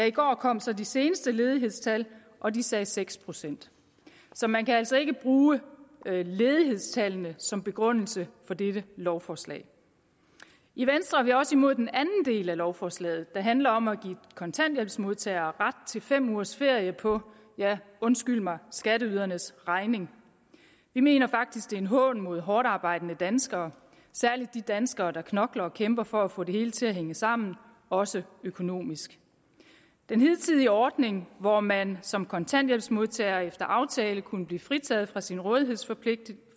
i går kom så de seneste ledighedstal og de sagde seks procent så man kan altså ikke bruge ledighedstallene som begrundelse for dette lovforslag i venstre er vi også imod den anden del af lovforslaget der handler om at give kontanthjælpsmodtagere ret til fem ugers ferie på ja undskyld mig skatteydernes regning vi mener faktisk det er en hån mod hårdtarbejdende danskere særlig de danskere der knokler og kæmper for at få det hele til at hænge sammen også økonomisk den hidtidige ordning hvor man som kontanthjælpsmodtager efter aftale kunne blive fritaget for sin rådighedsforpligtelse